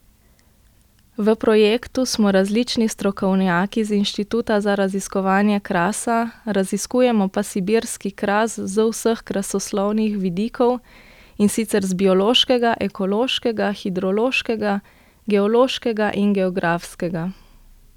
V projektu smo različni strokovnjaki z Inštituta za raziskovanje krasa, raziskujemo pa sibirski kras z vseh krasoslovnih vidikov, in sicer z biološkega, ekološkega, hidrološkega, geološkega in geografskega.